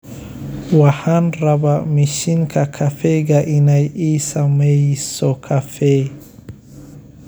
waxxan rabba mishinka kaffeyga inay ii sameyso kaffee